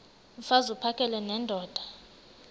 mfaz uphakele nendoda